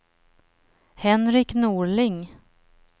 Henrik Norling